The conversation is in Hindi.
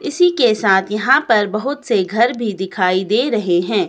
इसी के साथ यहां पर बहुत से घर भी दिखाई दे रहे हैं।